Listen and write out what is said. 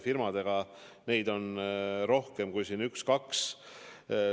Neid ravimifirmasid on rohkem kui üks-kaks.